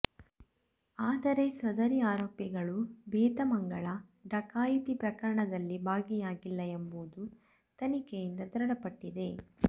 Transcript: ಆದರೆ ಸದರಿ ಆರೋಪಿಗಳು ಬೇತಮಂಗಲ ಡಕಾಯಿತಿ ಪ್ರಕರಣದಲ್ಲಿ ಭಾಗಿಯಾಗಿಲ್ಲ ಎಂಬುದು ತನಿಖೆಯಿಂದ ದೃಢಪಟ್ಟಿದೆ